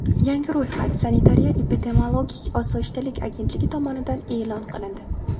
Yangi ro‘yxat Sanitariya-epidemiologik osoyishtalik agentligi tomonidan e’lon qilindi .